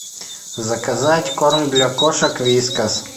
заказать корм для кошек вискас